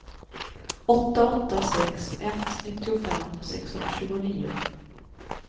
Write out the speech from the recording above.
åtta åtta sex ett nittiofem sexhundratjugonio